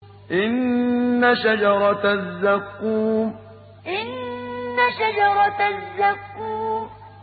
إِنَّ شَجَرَتَ الزَّقُّومِ إِنَّ شَجَرَتَ الزَّقُّومِ